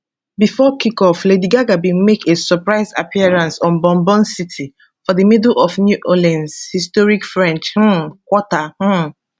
bifor kickoff lady gaga bin make a surprise appearance on bourbon street for di middle of new orleans historic french um quarter um